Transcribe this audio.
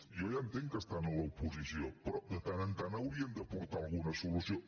jo ja entenc que estan a l’oposició però de tant en tant haurien d’aportar alguna solució